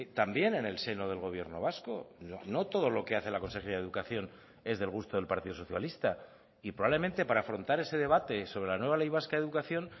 también en el seno del gobierno vasco no todo lo que hace la consejería de educación es del gusto del partido socialista y probablemente para afrontar ese debate sobre la nueva ley vasca de educación